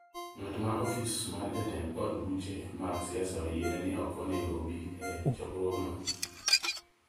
ng’at ma ofis mar Jatend od buche mag siasa oyiene ni ok onego obi e chokruogno